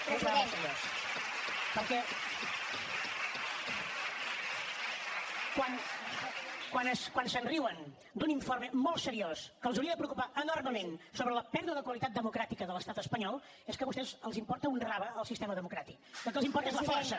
perquè quan es riuen d’un informe molt seriós que els hauria de preocupar enormement sobre la pèrdua de qualitat democràtica de l’estat espanyol és que a vostès els importa un rave el sistema democràtic el que els importa és la força